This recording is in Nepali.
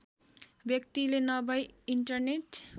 व्यक्तिले नभई इन्टरनेट